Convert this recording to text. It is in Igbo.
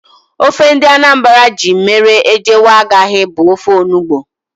Ofe ndị Anambra ji mere ejewe aghaghị bụ ofe onugbu